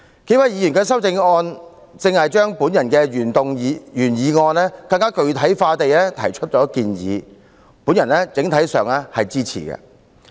數位提出修正案的議員都根據我的原議案提出更具體的建議，我整體上予以支持。